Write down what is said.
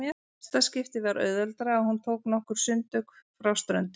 Næsta skipti var auðveldara og hún tók nokkur sundtök frá ströndinni.